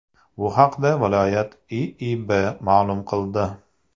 Bu haqda viloyat IIB ma’lum qildi .